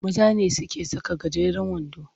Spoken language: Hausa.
Maza ne suke saka gajeren wando.